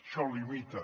això limita